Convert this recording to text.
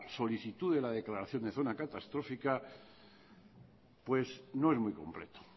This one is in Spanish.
solicitud de la declaración de zona catastrófica no es muy completo